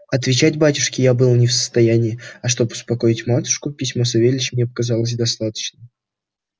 отвечать батюшке я был не в состоянии а чтоб успокоить матушку письмо савельича мне показалось достаточным